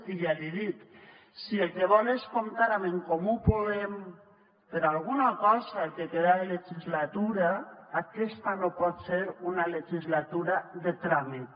i ja li dic si el que vol és comptar amb en comú podem per a alguna cosa el que queda de legislatura aquesta no pot ser una legislatura de tràmit